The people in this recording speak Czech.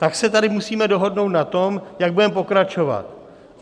Tak se tady musíme dohodnout na tom, jak budeme pokračovat.